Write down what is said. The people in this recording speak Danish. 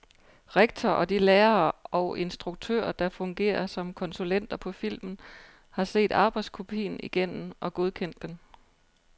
Rektor og de lærere og instruktører, der fungerer som konsulenter på filmen, har set arbejdskopien igennem og godkendt den.